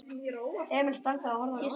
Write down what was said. Emil stansaði og horfði á Jósa.